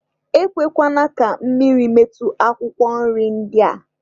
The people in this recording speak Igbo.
E kwekwana ka mmiri metụ akwụkwọ nri ndị a.